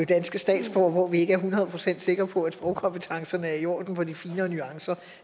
danske statsborgere og hvor vi ikke er hundrede procent sikre på at sprogkompetencerne er i orden for de finere nuancer